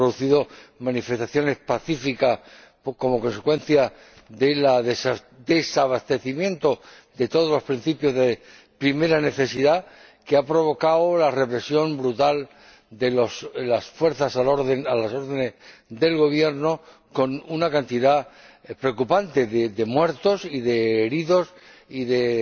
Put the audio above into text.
Se han producido manifestaciones pacíficas como consecuencia del desabastecimiento de todos los productos de primera necesidad que han provocado la represión brutal de las fuerzas a las órdenes del Gobierno, con un número preocupante de muertos, de heridos y de